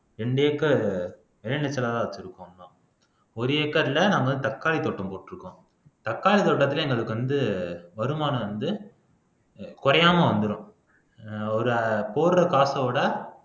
ரெண்டு ஏக்கர் வச்சிருக்கோம் இன்னும் ஒரு ஏக்கர்ல நாங்க தக்காளித் தோட்டம் போட்டிருக்கோம் தக்காளித் தோட்டத்திலே எங்களுக்கு வந்து வருமானம் வந்து குறையாம வந்துரும் ஒரு போடுற காசை விட